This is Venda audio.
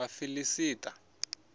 vhafiḽista